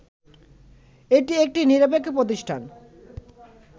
এটি একটি নিরপেক্ষ প্রতিষ্ঠান